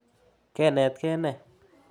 Ke netkei ne?